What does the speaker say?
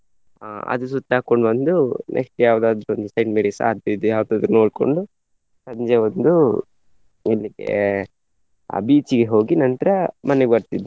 ಅಹ್ ಅದು ಸುತ್ತ್ ಹಾಕ್ಕೊಂಡು ಬಂದು next day ಯಾವುದಾದ್ರು ಒಂದು Saint Mary's ಅದು ಇದು ಯಾವುದಾದ್ರು ನೋಡ್ಕೊಂಡು ಸಂಜೆ ಒಂದು ಎಲ್ಲಿಗೆ ಅಹ್ beach ಗೆ ಹೋಗಿ ನಂತ್ರ ಮನೆಗೆ ಬರ್ತಿದ್ವಿ.